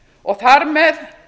og að þar með